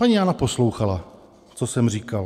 Paní Jana poslouchala, co jsem říkal.